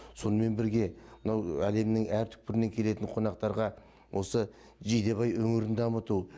сонымен бірге мынау әлемнің әр түкпірінен келетін қонақтарға осы жидебай өңірін таныту